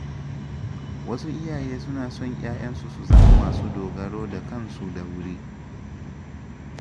Wasu iyaye suna son ‘ya’yansu su zama masu dogaro da kansu da wuri.